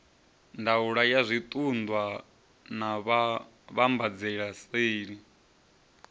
ndaulo ya zwiṱunḓwa na vhuvhambadzelaseli